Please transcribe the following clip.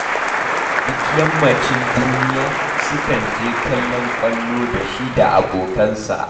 Duk yammacin duniya sukan je kallon ƙwallo da shi da abokansa